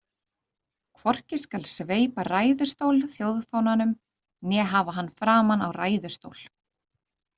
Hvorki skal sveipa ræðustól þjóðfánanum né hafa hann framan á ræðustól.